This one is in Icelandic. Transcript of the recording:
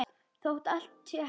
Þótt allt sé hætt?